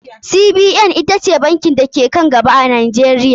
CBN ita ce banki da ke ka n gaba a Najeriya.